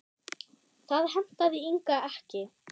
Það hentaði Inga ekki.